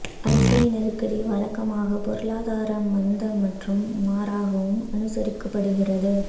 அரசியல் நெருக்கடி வழக்கமாக பொருளாதார மந்த மற்றும் மாறாகவும் அனுசரிக்கப்படுகிறது